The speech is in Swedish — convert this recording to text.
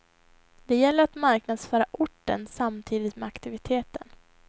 Det gäller att marknadsföra orten samtidigt med aktiviteten.